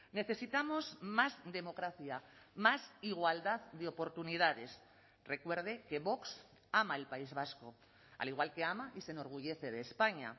necesitamos más democracia más igualdad de oportunidades recuerde que vox ama el país vasco al igual que ama y se enorgullece de españa